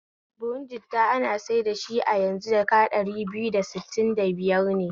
Buhu jitta ana saida shi a yanzu jaka ɗari biyar da sittin da biyar ne